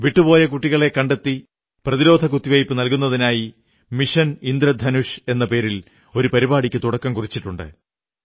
വിട്ടുപോയ കുട്ടികളെ കണ്ടെത്തി പ്രതിരോധ കുത്തിവയ്പ്പു നല്കുന്നതിനായി മിഷൻ ഇന്ദ്രധനുഷ് എന്ന പേരിൽ പരിപാടിക്ക് തുടക്കം കുറിച്ചിട്ടുണ്ട്